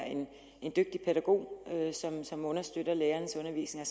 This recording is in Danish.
en dygtig pædagog som understøtter lærerens undervisning